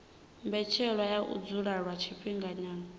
mbetshelwa ya u dzula lwa tshifhinganyana